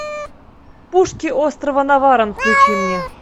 пушки острова наварон включи мне